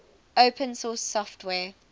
open source software